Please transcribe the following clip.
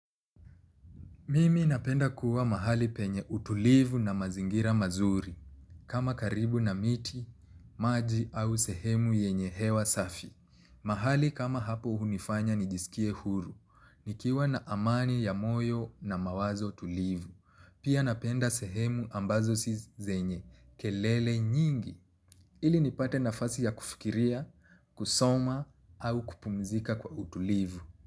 Mimi napenda kuwa mahali penye utulivu na mazingira mazuri, kama karibu na miti, maji au sehemu yenye hewa safi. Mahali kama hapo hunifanya nijisikie huru, nikiwa na amani ya moyo na mawazo tulivu. Pia napenda sehemu ambazo si zenye, kelele nyingi. Ili nipate nafasi ya kufikiria, kusoma au kupumzika kwa utulivu.